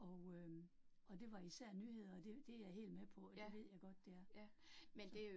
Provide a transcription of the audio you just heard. Og øh og det var især nyheder, og det det jeg helt med på, og det ved jeg godt, det er. Så